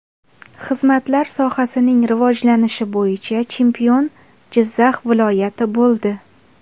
Xizmatlar sohasining rivojlanishi bo‘yicha chempion – Jizzax viloyati bo‘ldi.